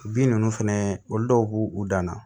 Bin ninnu fɛnɛ olu dɔw b'u dan na